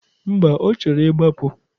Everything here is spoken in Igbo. Mba, ọ chọrọ ịgbapụ.